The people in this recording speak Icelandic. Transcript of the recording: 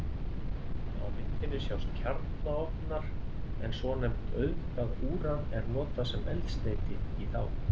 Á myndinni sjást kjarnaofnar en svonefnt auðgað úran er notað sem eldsneyti í þá.